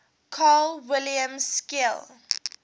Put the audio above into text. carl wilhelm scheele